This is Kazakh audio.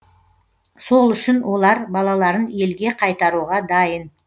сол үшін олар балаларын елге қайтаруға дайын